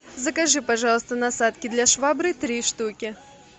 закажи пожалуйста насадки для швабры три штуки